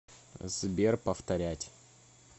сбер повторять